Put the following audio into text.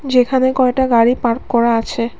যেখানে কয়টা গাড়ি পার্ক করা আছে।